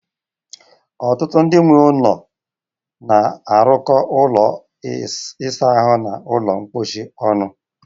Ọtụtụ ndị nwe ụlọ na-arụkọ ụlọ ịsa ahụ na ụlọ mposi ọnụ